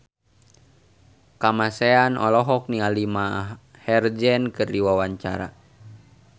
Kamasean olohok ningali Maher Zein keur diwawancara